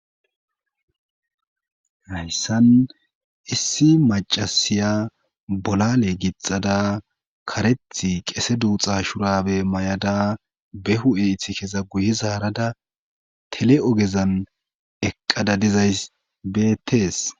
Hayssan issi macasiya bolale gixada kareth qese duuxa shurabe may7ada behu7eith keza guye zaarada tele7ogezan eqqada dizay beettees